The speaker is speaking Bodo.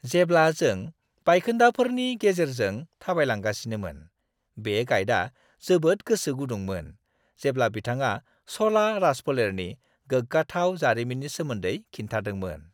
जेब्ला जों बायखोन्दाफोरनि गेजेरजों थाबायलांगासिनोमोन, बे गाइडआ जोबोद गोसो गुदुंमोन जेब्ला बिथाङा च'ला राजफोलेरनि गोग्गाथाव जारिमिननि सोमोन्दै खिन्थादोंमोन।